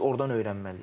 Biz ordan öyrənməliyik.